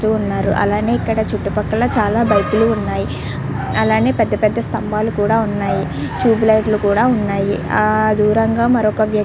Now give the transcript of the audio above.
అలానే ఎక్కడ చుట్టూ పక్కన చాల బైకులు ఉన్నాయి అలానే పెద్ద పెద్ద స్థంబాలు ఉన్నాయి ట్యూబ్ లైట్లు ఉన్నాయి ఆ దూరంగా మరో వ్యక్తి --